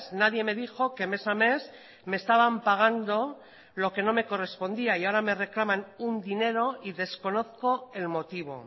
nadie me dijo que mes a mes me estaban pagando lo que no me correspondía y ahora me reclaman un dinero y desconozco el motivo